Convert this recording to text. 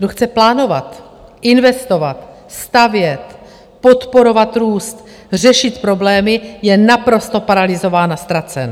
Kdo chce plánovat, investovat, stavět, podporovat růst, řešit problémy, je naprosto paralyzován a ztracen.